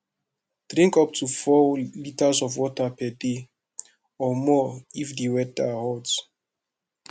drink up to 4 liters of water per day and more if weather de hot